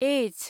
H